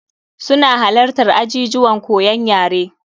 Su na halattar ajijuwan koyon yare.